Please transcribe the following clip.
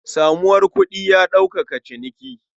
Samuwar kuɗi ya sauƙaƙa ciniki.